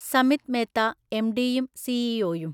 സമിത് മേത്ത, എംഡിയും സിഇഒയും